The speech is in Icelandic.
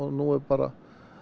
nú er bara